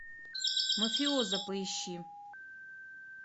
мафиоза поищи